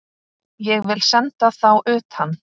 Ég vil senda þá utan!